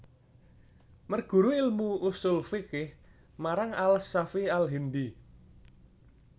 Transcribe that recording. Mergru ilmu ushul fikih marang al Shafy al Hindy